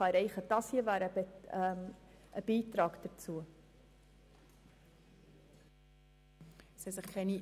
Der Minderheitsantrag würde einen Beitrag dazu leisten.